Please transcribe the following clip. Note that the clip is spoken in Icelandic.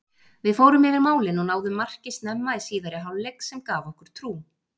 Við fórum yfir málin og náðum marki snemma í síðari hálfleik sem gaf okkur trú.